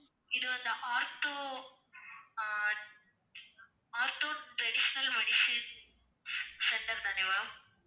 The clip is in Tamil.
இது அந்த ortho ah ortho traditional medicine centre தானே ma'am